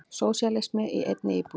Sósíalismi í einni íbúð.